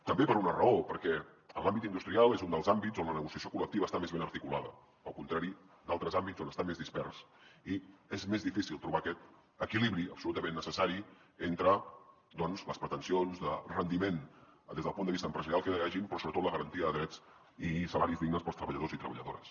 també per una raó perquè l’àmbit industrial és un dels àmbits on la negociació col·lectiva està més ben articulada al contrari d’altres àmbits on està més dispersa i és més difícil trobar aquest equilibri absolutament necessari entre doncs les pretensions de rendiment des del punt de vista empresarial que hi hagin però sobretot la garantia de drets i salaris dignes per als treballadors i treballadores